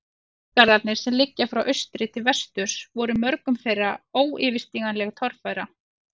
Fjallgarðarnir, sem liggja frá austri til vesturs, voru mörgum þeirra óyfirstíganleg torfæra.